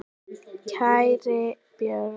Kæri Björn.